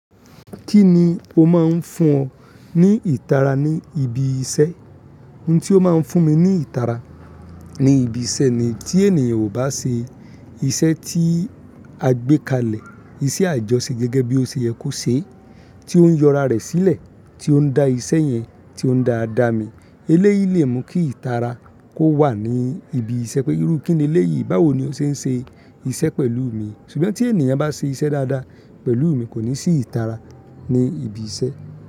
Kí ni o máa ń fún ọ ní ìtara ní ibi iṣẹ́? Ohun tí ó máa ń fún mi ní ìtara ní ibi iṣẹ́ ni tí ènìyàn ò bá ṣe iṣẹ́ tí a gbé kalẹ̀, iṣẹ́ àjọṣe gẹ́gẹ́ bí ó ṣe yẹ kó ṣe, tí ó ń yọ ara rẹ̀ sílẹ̀, tí ó ń dá iṣẹ́ yẹn, tí ó ń dáa dáa mi. Eléyìí lè mú kí ìtara kó wà ní ibi iṣẹ́ pé irú kíni eléyìí? Báwo ni o ṣe ń ṣe iṣẹ́ pẹ̀lú mi? Ṣùgbọ́n tí ènìyàn bá ṣe iṣẹ́ dáadáa pẹ̀lú mi kò ní sí ìtara ní ibi iṣẹ́